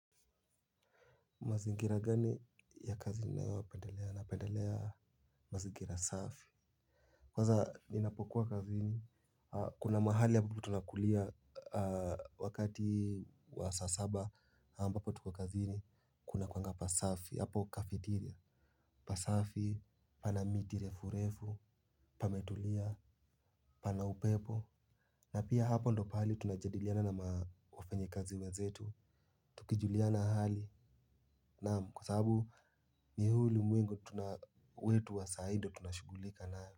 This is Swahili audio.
Mazingira gani ya kazi ninayo wa pendelea na pendelea mazingira safi. Kwaza ninapokuwa kazi ni kuna mahali ambapo tunakulia wakati wa saa saba ambapo tuko kazini kuna kuanga pasafi hapo kafitiria. Pasafi pana miti refurefu pametulia pana upepo. Na pia hapo ndio pahali tunajadiliana nama wafanyikazi wenzetu. Tukijuliana hali naam kwasababu ta huu ulimwengo wetu wa saii ndio tunashugulika nayo.